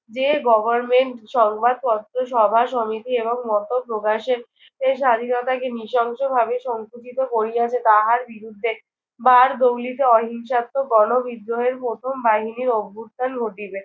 যে government সংবাদপত্র, সভাসমিতি এবং মত প্রকাশের এ স্বাধীনতাকে নৃশংসভাবে সংকুচিত করিয়াছে তাহার বিরুদ্ধে বারদৌলিতে অহিংসাত্মক গণবিদ্রোহের প্রথম বাহিনীর অভ্যুত্থান ঘটিবে।